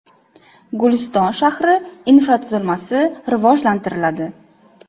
Guliston shahri infratuzilmasi rivojlantiriladi.